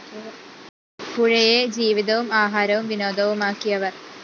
പുഴയെ ജീവിതവും ആഹാരവും വിനോദവുമാക്കിയവര്‍